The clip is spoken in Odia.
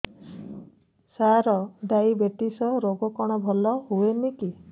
ସାର ଡାଏବେଟିସ ରୋଗ କଣ ଭଲ ହୁଏନି କି